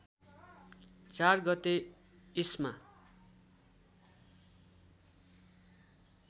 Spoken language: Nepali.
४ गते इस्मा